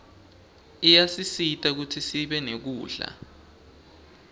iyasisita kutsisibe nekudla